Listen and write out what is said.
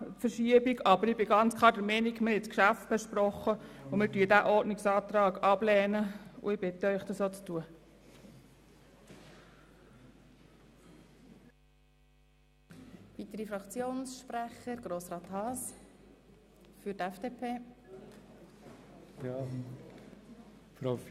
Allerdings haben wir das Geschäft diskutiert, und aufgrund dieser Diskussionen muss aus meiner Sicht dieser Ordnungsantrag ganz klar abgelehnt werden.